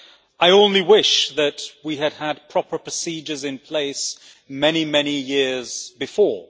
I only wish that we had had proper procedures in place many, many years before.